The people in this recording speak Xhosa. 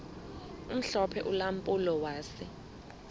omhlophe ulampulo wase